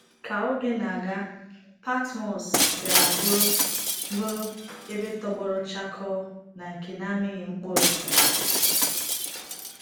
Ka oge na-aga, Patmos bịara bụrụ bụrụ ebe tọgbọrọ chakoo na nke na-amịghị mkpụrụ.